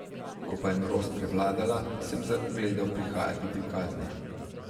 Ko pa je norost prevladala, sem zagledal prihajati prikazni.